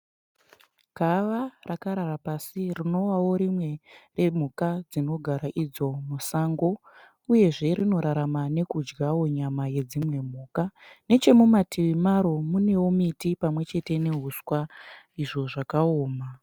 Gava rakarara pasi rinovavo rimwe yemhuka dzinogara idzo musango uyezve rinorarama nekudyawo nyama yedzimwe mhuka. Nechemumativi maro munewo miti pamwe chete nehuswa izvo zvakaoma.